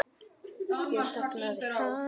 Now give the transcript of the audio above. Hér þagnaði hann.